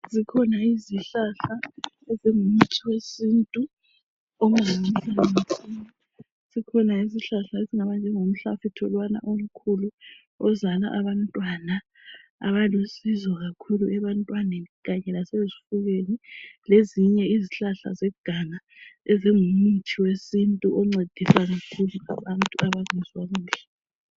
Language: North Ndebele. Zikhona ezinye izihlahla ezingaba ngumuthi wesintu. Sikhona isihlahla esingaba njengomhlafutho lowana omkhulu ozala abantwana abalusizo kakhulu ebantwaneni kanye lasezifubeni lezinye izihlahla zeganga ezingumuthi wesintu oncedisayo kakhulu abantu abangezwa kahle